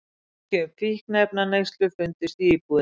Merki um fíkniefnaneyslu fundust í íbúðinni